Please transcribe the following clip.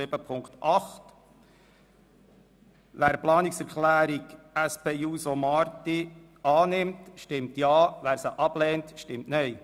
Wer diese annimmt, stimmt Ja, wer diese ablehnt, stimmt Nein.